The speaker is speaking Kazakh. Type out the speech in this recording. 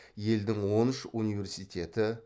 елдің он үш университеті